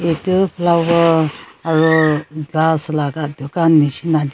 etu flower aro glass laga dukan nishina dikhi asey.